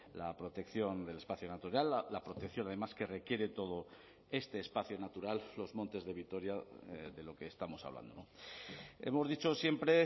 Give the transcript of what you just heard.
la protección del espacio natural la protección además que requiere todo este espacio natural los montes de vitoria de lo que estamos hablando hemos dicho siempre